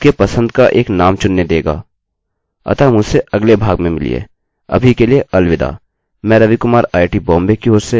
अतः मुझसे अगले भाग में मिलिए